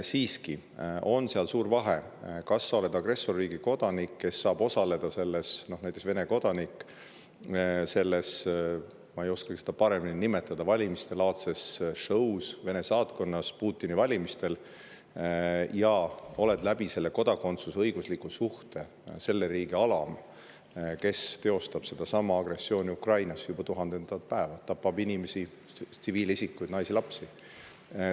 Siiski on suur vahe selles, kas sa oled agressorriigi kodanik, näiteks Vene kodanik, kes saab osaleda selles, ma ei oska seda paremini nimetada, valimistelaadses show's Vene saatkonnas Putini valimistel ja oled selle kodakondsuse, selle õigusliku suhte alusel selle riigi alam, mis teostab sedasama agressiooni Ukrainas juba tuhandendat päeva, tapab inimesi, tsiviilisikuid, naisi-lapsi.